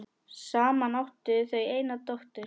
Saman áttu þau eina dóttur.